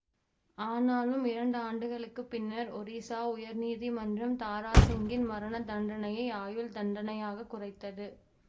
ஆனாலும் இரண்டாண்டுகளுக்குப் பின்னர் ஒரிசா உயர் நீதிமன்றம் தாராசிங்கின் மரண தண்டனையை ஆயுள்தண்டனையாகக் குறைத்தது